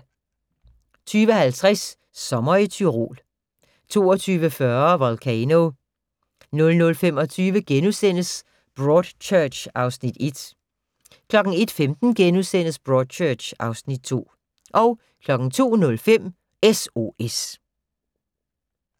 20:50: Sommer i Tyrol 22:40: Volcano 00:25: Broadchurch (Afs. 1)* 01:15: Broadchurch (Afs. 2)* 02:05: S.O.S